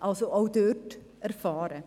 er ist also auch dort erfahren.